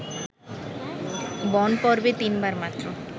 বনপর্বে তিনবার মাত্র